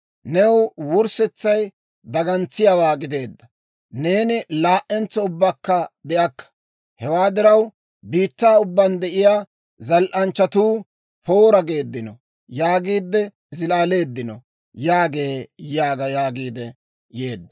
Ne wurssetsay dagantsiyaawaa gideedda; neeni laa"entso ubbakka de'akka. Hewaa diraw, biittaa ubbaan de'iyaa, zal"anchchatuu, Poora! geeddino yaagiide zilaaleeddino» yaagee› yaaga» yaagiidde yeedda.